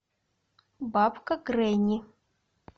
бабка гренни